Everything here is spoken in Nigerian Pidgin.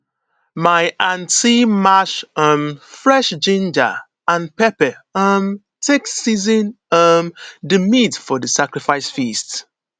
my aunty mash um fresh ginger and pepper um take season um di meat for di sacrifice feast